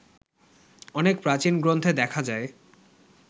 অনেক প্রাচীন গ্রন্থে দেখা যায়